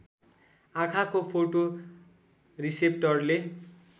आँखाको फोटो रिसेप्टरले